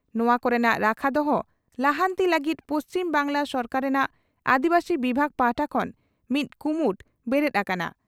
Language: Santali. ᱱᱚᱣᱟ ᱠᱚᱨᱮᱱᱟᱜ ᱨᱟᱠᱷᱟ ᱫᱚᱦᱚ, ᱞᱟᱦᱟᱱᱛᱤ ᱞᱟᱹᱜᱤᱫ ᱯᱩᱪᱷᱤᱢ ᱵᱟᱝᱜᱽᱞᱟ ᱥᱚᱨᱠᱟᱨ ᱨᱮᱱᱟᱜ ᱟᱹᱫᱤᱵᱟᱹᱥᱤ ᱵᱤᱵᱷᱟᱜᱽ ᱯᱟᱦᱴᱟ ᱠᱷᱚᱱ ᱢᱤᱫ ᱠᱩᱢᱩᱴ ᱵᱮᱨᱮᱫ ᱟᱠᱟᱱᱟ ᱾